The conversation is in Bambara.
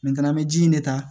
an bɛ ji in de ta